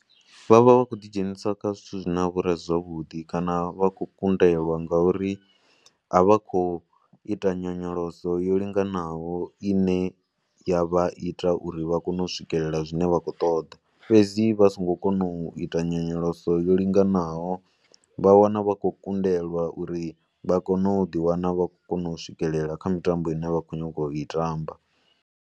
Vha vha vha khou ḓidzhenisa kha zwithu zwine zwa vha uri a si zwavhuḓi kana vha kundelwa ngauri a vha khou ita nyonyoloso yo linganaho i ne ya vha ita uri vha kone u swikelela zwine vha khou ṱoḓa. Fhedzi vha songo kona u ita nyonyoloso yo linganaho vha wana vha khou kundelwa uri vha kone u ḓiwana vha khou kona u swikelela kha mitambo i ne vha khou nyanga u i tamba.